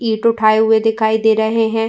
ईट उठाये हुए'' दिखाई दे रहे हैं।